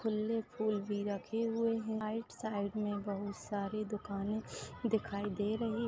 खुल्ले फूल भी रखे हुवे है राइट साइड मे बहुत सारी दुकाने दिखाई दे रही--